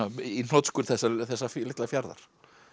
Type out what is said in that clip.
í hnotskurn þessa þessa litla fjarðar